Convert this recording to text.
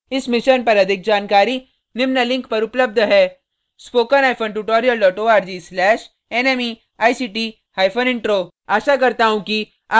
इस mission पर अधिक जानकारी निम्न लिंक पर उपलब्ध है